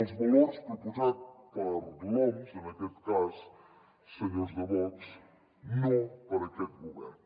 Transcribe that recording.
els valors proposat per l’oms en aquest cas senyors de vox no per aquest govern